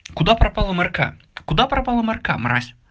куда пропала марка куда пропала марка мразь